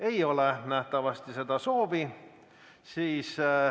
Ei ole nähtavasti seda soovi.